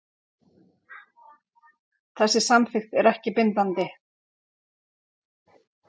Þessi samþykkt er ekki bindandi